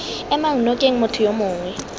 emang nokeng motho yo mongwe